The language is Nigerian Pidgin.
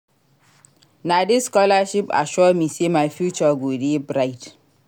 Na dis scholarship assure me sey my future go dey bright.